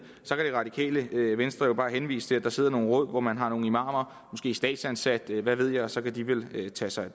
radikale venstre jo bare henvise til at der sidder nogle råd hvor man har nogle imamer måske statsansatte hvad ved jeg og så kan de vel tage sig af